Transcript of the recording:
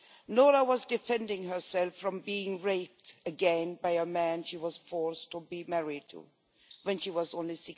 Noura was defending herself from being raped again by a man she was forced to be married to when she was only